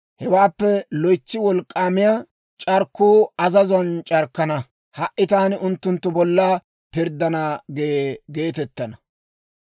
Hewaappe loytsi wolk'k'aamiyaa c'arkkuu ta azazuwaan c'arkkana; ha"i taani unttunttu bolla pirddana» gee geetettana.